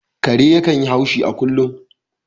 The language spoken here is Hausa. Kare yakan yi haushi a kullum